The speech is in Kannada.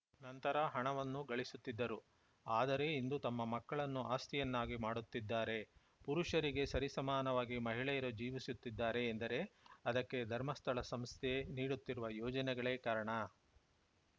ನಂತರ ಹಣವನ್ನು ಗಳಿಸುತ್ತಿದ್ದರು ಆದರೆ ಇಂದು ತಮ್ಮ ಮಕ್ಕಳನ್ನು ಆಸ್ತಿಯನ್ನಾಗಿ ಮಾಡುತ್ತಿದ್ದಾರೆ ಪುರುಷರಿಗೆ ಸರಿಸಮನವಾಗಿ ಮಹಿಳೆಯರು ಜೀವಿಸುತ್ತಿದ್ದಾರೆ ಎಂದರೆ ಅದಕ್ಕೆ ಧರ್ಮಸ್ಥಳ ಸಂಸ್ಥೆ ನೀಡುತ್ತಿರುವ ಯೋಜನೆಗಳೇ ಕಾರಣ